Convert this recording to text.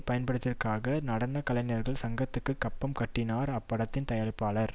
பயன்படுத்தியதற்காக நடன கலைஞர்கள் சங்கத்துக்கு கப்பம் கட்டினார் அப்படத்தின் தயாரிப்பாளர்